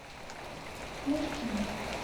мышкину